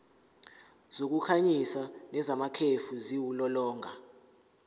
zokukhanyisa nezamakhefu ziwulolonga